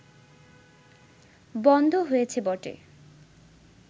বন্ধ হয়েছে বটে